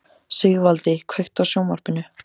Sigvaldi, kveiktu á sjónvarpinu.